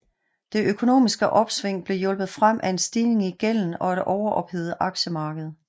Det økonomisk opsving blev hjulpet frem af en stigning i gælden og et overophedet aktiemarked